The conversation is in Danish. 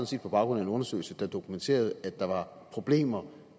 set på baggrund af en undersøgelse der dokumenterede at der var problemer